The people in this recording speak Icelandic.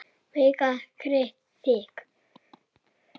Magga gretti sig.